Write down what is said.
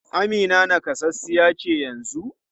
Amina nakasassa ce yanzu?